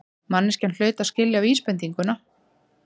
Manneskjan hlaut að skilja vísbendinguna.